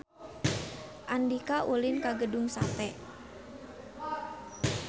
Andika ulin ka Gedung Sate